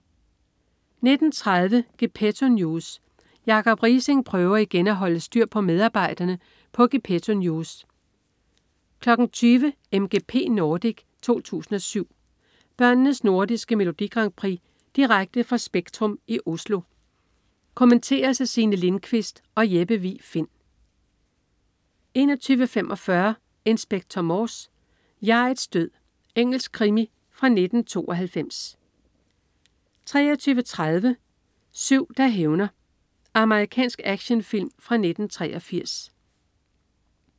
19.30 Gepetto News. Jacob Riising prøver igen at holde styr på medarbejderne på Gepetto News 20.00 MGP Nordic 2007. Børnenes nordiske Melodi Grand Prix direkte fra Spektrum i Oslo. Kommenteres af Signe Lindkvist og Jeppe Vig Find 21.45 Inspector Morse: Jeg'ets død. Engelsk krimi fra 1992 23.30 Syv der hævner. Amerikansk actionfilm fra 1983